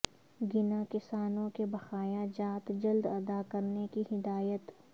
گناکسانوں کے بقایا جات جلد ادا کرنے کی ہدایت